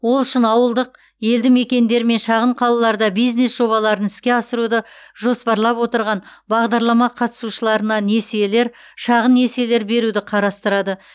ол үшін ауылдық елді мекендер мен шағын қалаларда бизнес жобаларын іске асыруды жоспарлап отырған бағдарлама қатысушыларына несиелер шағын несиелер беруді қарастырады